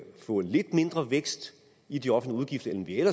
få lidt mindre vækst i de offentlige